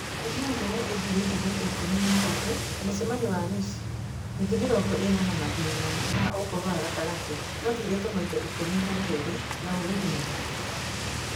Kuuma Ngoro ĩthuritwo maita ikũmi na matatũ, Mũcemanio wa Mũciĩ, Mĩtĩ Mĩrongo ĩna na Mathĩna ma Ùkũrũ wa Gatagatĩ mathurĩtwo maita ikũmi na merĩ na Ùrũdi maita kenda.